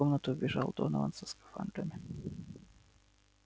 в комнату вбежал донован со скафандрами